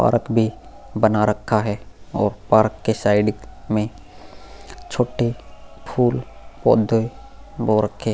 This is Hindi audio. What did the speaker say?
पार्क भी बना रखा है और पार्क के साइड में छोटे फूल पौधे बो रखे --